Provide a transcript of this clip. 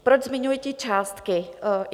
Proč zmiňuji ty částky?